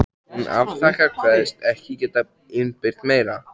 Hún afþakkar, kveðst ekki geta innbyrt meira.